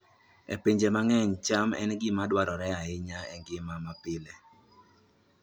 E pinje mang'eny, cham en gima dwarore ahinya e ngima mapile